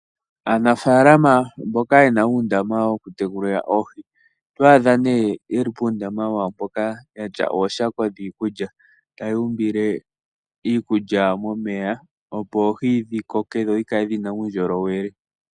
Aanafalama mboka yena undama woku tekulila oohi otwadha ne yeli pundama wawo poka yatya ooshako dhikulya taya umbile iikulya momeya opo oohi dhikoke nodhikale dhina uundjolowele .